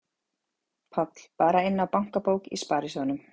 Páll: Bara inná bankabók í sparisjóðnum?